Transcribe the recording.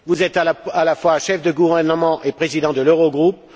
Vous êtes à la fois chef de gouvernement et Président de l'Eurogroupe